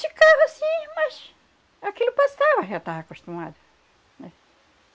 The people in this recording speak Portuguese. Ficava sim, mas... Aquilo passava, já estava acostumada, né